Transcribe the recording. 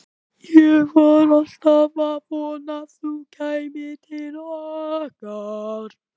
Ég var alltaf að vona að þú kæmir til okkar.